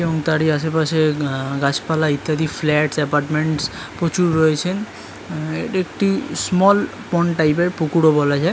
এবং তারই আসে পাশে গাছপালা ইত্যাদি ফ্ল্যাটস এপার্টমেন্টস প্রচুর রয়েছে এটা একটা স্মল পন্ড টাইপ এর পুকুর ওবলা যায়।